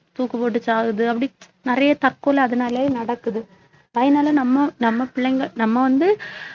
தூக்குபோட்டு சாகுது அப்படி நிறைய தற்கொலை அதனாலேயே நடக்குது அதனாலே நம்ம நம்ம பிள்ளைங்க நம்ம வந்து